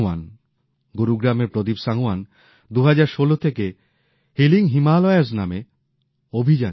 গুরুগ্রামএর প্রদীপ সাঙওয়ান ২০১৬ থেকে হিলিং হিমালয়ের নামে অভিযান চালাচ্ছেন